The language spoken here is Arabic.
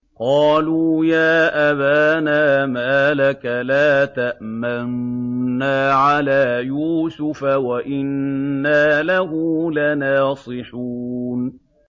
قَالُوا يَا أَبَانَا مَا لَكَ لَا تَأْمَنَّا عَلَىٰ يُوسُفَ وَإِنَّا لَهُ لَنَاصِحُونَ